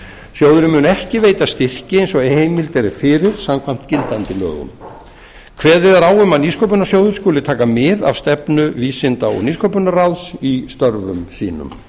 sjóðurinn mun ekki veita styrki eins og heimild er fyrir samkvæmt gildandi lögum kveðið er á um að nýsköpunarsjóður skuli taka mið af stefnu vísinda og nýsköpunarráðs í störfum sínum